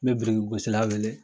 N bɛ birikigosila weele